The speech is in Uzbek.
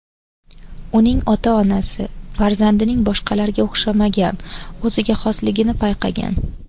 Uning ota-onasi farzandining boshqalarga o‘xshamagan o‘ziga xosligini payqagan.